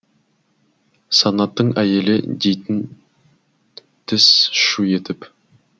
санаттың әйелі дейтін тіс шу етіп